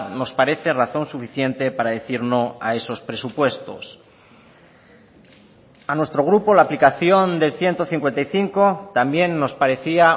nos parece razón suficiente para decir no a esos presupuestos a nuestro grupo la aplicación del ciento cincuenta y cinco también nos parecía